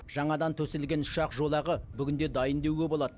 жаңадан төселген ұшақ жолағы бүгінде дайын деуге болады